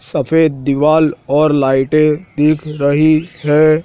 सफेद दीवाल और लाइटें दिख रही है।